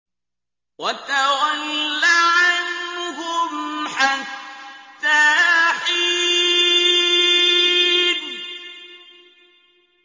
وَتَوَلَّ عَنْهُمْ حَتَّىٰ حِينٍ